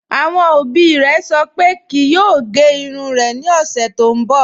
Awọn obì rẹ̀ sọ̀ pé kíì yòò gẹ̀ irùn rẹ̀ ni ọṣẹ̀ tó nbọ